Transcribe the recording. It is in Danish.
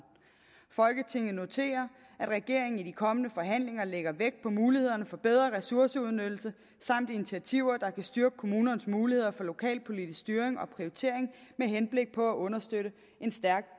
folketinget noterer at regeringen i de kommende forhandlinger lægger vægt på mulighederne for bedre ressourceudnyttelse samt initiativer der kan styrke kommunernes muligheder for lokalpolitisk styring og prioritering med henblik på at understøtte en stærk